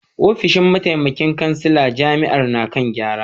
Ofishin mataimakin kansila jami’ar na kan gyara